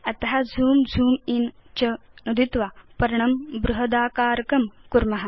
अत झूं झूं इन् च नुदित्वा पर्णं बृहदाकारकं कुर्म